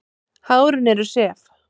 Hárin eru sef.